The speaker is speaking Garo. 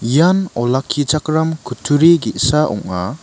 ian olakkichakram kutturi ge·sa ong·a.